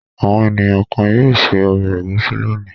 Àwọn ènìyàn kan yóò se ọbẹ̀ ẹ̀gúsí lónìí.